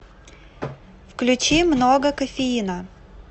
включи много кофеина